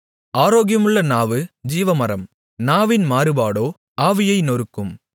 ஆரோக்கியமுள்ள நாவு ஜீவமரம் நாவின் மாறுபாடோ ஆவியை நொறுக்கும்